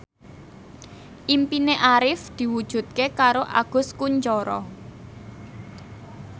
impine Arif diwujudke karo Agus Kuncoro